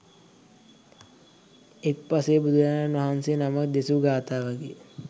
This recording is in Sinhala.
එක් පසේ බුදුරජාණන් වහන්සේ නමක් දෙසූ ගාථාවකි.